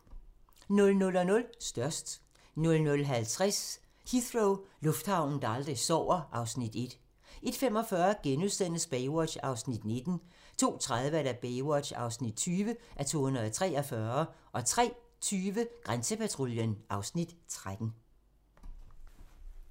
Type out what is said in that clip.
00:00: Størst 00:50: Heathrow - lufthavnen, der aldrig sover (Afs. 1) 01:45: Baywatch (19:243)* 02:30: Baywatch (20:243) 03:20: Grænsepatruljen (Afs. 13)